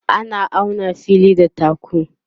ana auna na fili da taku